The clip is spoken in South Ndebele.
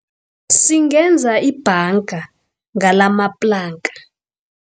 Singenza ibhanga ngalamaplanka.